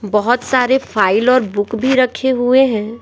बहुत सारे फाइल और बुक भी रखे हुए हैं।